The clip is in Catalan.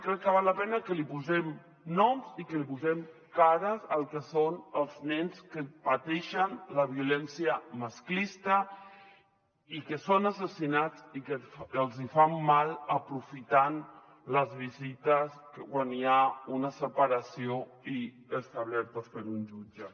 crec que val la pena que els hi posem noms i que els hi posem cares al que són els nens que pateixen la violència masclista i que són assassinats i que els hi fan mal aprofitant les visites quan hi ha una separació establertes per un jutge